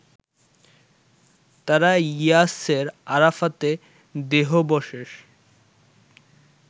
তারা ইয়াসের আরাফাতের দেহাবশেষ